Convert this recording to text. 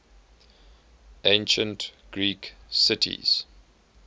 ancient greek cities